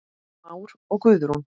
Már og Guðrún.